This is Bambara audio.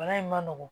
Bana in ma nɔgɔn